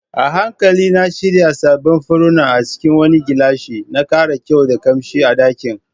A hankali na shirya sabbin furanni a cikin wani gilashi, na kara kyau da kamshi a dakin.